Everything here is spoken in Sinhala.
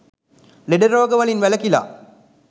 ලෙඩ රෝග වලින් වැළකිලා